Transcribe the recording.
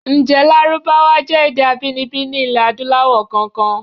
Ǹjé Lárúbáwá jẹ́ èdè abíninibí ní ilẹ̀ Adúláwọ̀ kankan?